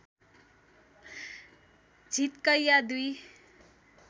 झिटकैया २